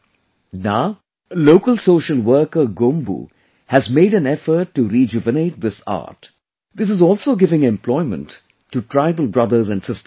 Now a local social worker Gombu has made an effort to rejuvenate this art, this is also giving employment to tribal brothers and sisters there